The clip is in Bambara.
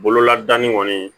Bololadani kɔni